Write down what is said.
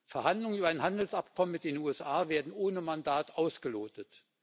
Verhandlungen über ein Handelsabkommen mit den USA werden ohne Mandat ausgelotet.